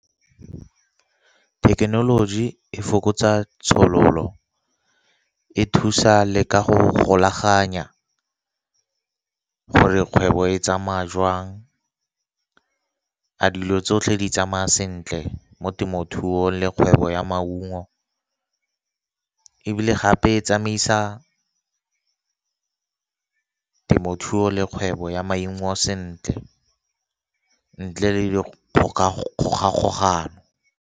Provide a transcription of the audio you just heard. Thekenoloji e fokotsa tshololo e thusa le ka go golaganya, gore kgwebo e tsamaya joang, a dilo tsotlhe di tsamaya sentle mo temothuong le kgwebo ya maungo. Ebile gape e tsamaisa temothuo le kgwebo ya maungo sentle ntle le dikgogakgogano.